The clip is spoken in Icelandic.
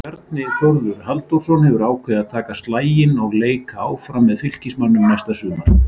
Bjarni Þórður Halldórsson hefur ákveðið að taka slaginn og leika áfram með Fylkismönnum næsta sumar.